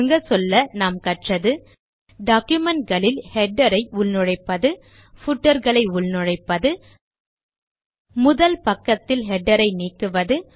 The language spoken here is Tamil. சுருங்கச்சொல்ல நாம் கற்றது டாக்குமென்ட் களில் ஹெடர் களை உள்நுழைப்பது பூட்டர் களை உள்நுழைப்பது முதல் பக்கத்தில் ஹெடர் ஐநீக்குவது